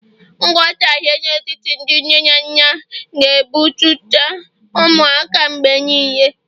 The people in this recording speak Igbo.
nghọtahie n'etiti ndị nne na nna, ga-emetụta ụmụaka mgbe niile